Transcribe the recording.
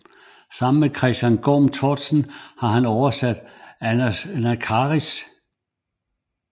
Sammen med Christian Gorm Tortzen har han oversat Anacharsis